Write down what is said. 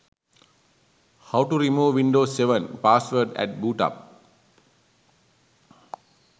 how to remove windows 7 password at boot up